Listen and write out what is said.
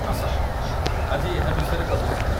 ଆସ, ଆଜି ଏହା ବିଷୟରେ କଥା ହେବା